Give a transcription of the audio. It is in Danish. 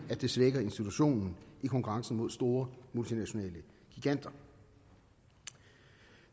det svækker institutionen i konkurrencen mod store multinationale giganter